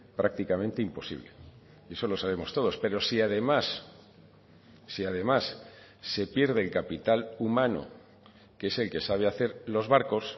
prácticamente imposible y eso lo sabemos todos pero si además si además se pierde el capital humano que es el que sabe hacer los barcos